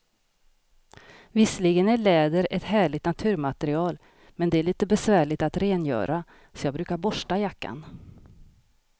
Visserligen är läder ett härligt naturmaterial, men det är lite besvärligt att rengöra, så jag brukar borsta jackan.